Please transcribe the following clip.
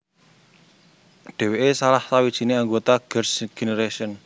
Dheweke salah sawijine anggota Girl s Generation